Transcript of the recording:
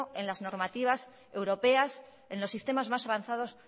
en las normativas europeas en los sistemas más avanzados